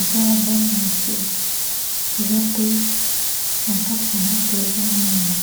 eza ya bana mike eza pe na kati na yango mpe eza mwindu.